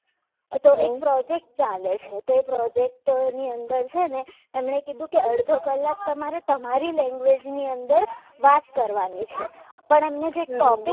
એ તો એક પ્રોજેક્ટ ચાલે છે તે પ્રોજેક્ટ ની અંદર છે ને એમને કીધું કે અડધો કલાક તમારે તમારી language ની અંદર વાત કરવાની છે પણ એમની જે topic